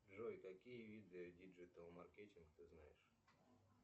джой какие виды диджитал маркетинг ты знаешь